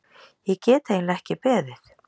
Ég get eiginlega ekki beðið.